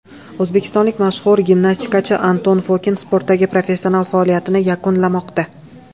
O‘zbekistonlik mashhur gimnastikachi Anton Fokin sportdagi professional faoliyatini yakunlamoqda.